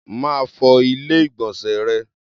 Máa fọ Ilé-ìgbọ̀nsẹ̀ rẹ.